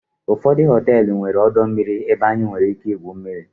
ụfọdụ họteelụ nwere ọdọ mmiri ebe anyị nwere ike igwu mmiri